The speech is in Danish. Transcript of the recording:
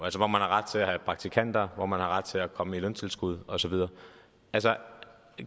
hvor man har ret til at have praktikanter hvor man har ret til at komme i løntilskud og så videre